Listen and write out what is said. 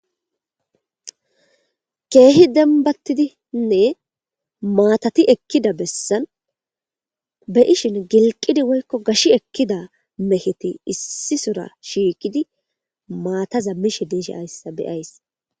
Kehi dembatidinne mattati ekkida besani be'ishin gilqidi woykon gashi ekida megeti issisora shiqidi mattaza mishe dizaysa beyaysi.